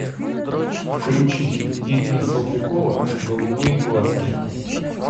включить ирина салтыкова голубые глазки